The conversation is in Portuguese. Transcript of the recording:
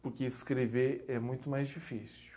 Porque escrever é muito mais difícil.